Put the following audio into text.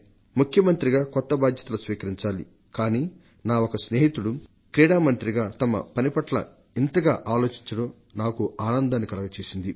ముఖ్యమంత్రిగా కొత్త బాధ్యతలు స్వీకరించాలి కానీ నా ఒక స్నేహితుడొకరు క్రీడా మంత్రిగా తమ కర్తవ్యం పట్ల ఇంతగా ఆలోచించడం నాకు ఆనందాన్ని కలగజేసింది